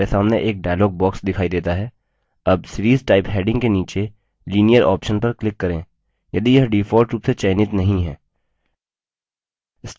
हमारे सामने एक dialog box दिखाई देता है अब series type heading के नीचे linear option पर click करें यदि यह default रूप से चयनित नहीं है